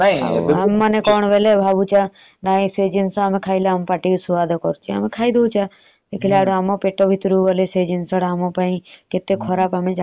ସେମାନେ ବି ସେଇ ହିସାବ ରେ ତାଙ୍କେ ଯୋଉ dieting କରି ସେ ହିସାବ ରେ ଛେନା provide କରୁଛନ୍ତି